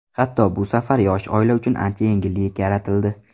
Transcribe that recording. Hatto bu safar yosh oila uchun ancha yengillik yaratildi.